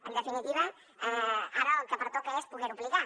en definitiva ara el que pertoca és poder ho aplicar